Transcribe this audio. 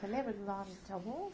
Você lembra de nomes de alguns?